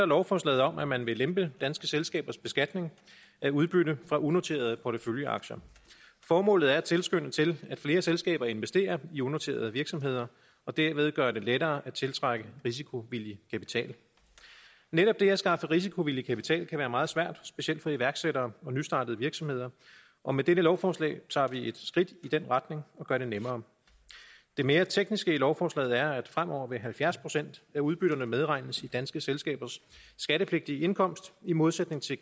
lovforslaget om at man vil lempe danske selskabers beskatning af udbytte fra unoterede porteføljeaktier formålet er at tilskynde til at flere selskaber investerer i unoterede virksomheder og derved at gøre det lettere at tiltrække risikovillig kapital netop det at skaffe risikovillig kapital kan være meget svært specielt for iværksættere og nystartede virksomheder og med dette lovforslag tager vi et skridt i den retning og gør det nemmere det mere tekniske i lovforslaget er at fremover vil halvfjerds procent af udbytterne medregnes i danske selskabers skattepligtige indkomst i modsætning til